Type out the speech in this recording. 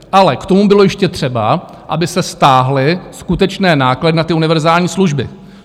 Ale k tomu bylo ještě třeba, aby se stáhly skutečné náklady na ty univerzální služby.